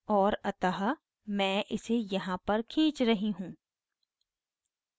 और अतः मैं इसे यहाँ पर खीच रही हूँ